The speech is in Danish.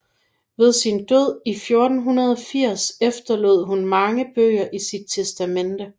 Ved sin død i 1480 efterlod hun mange bøger i sit testamente